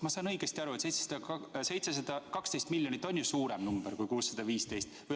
Ma saan aru, et 712 miljonit on ju suurem number kui 615 miljonit.